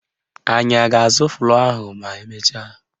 Anyị a ga-azụ flọ́ọ̀ ahụ ma emecha?